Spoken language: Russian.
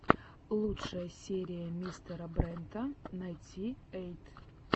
лучшая серия мистера брента найнти эйт